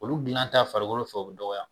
Olu dilan ta farikolo fɛ o bɛ dɔgɔya.